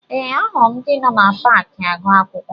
Ee, ahụrụ m ndị nọ na paakị agụ akwụkwọ